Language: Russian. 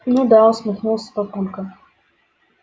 ну да усмехнулся папулька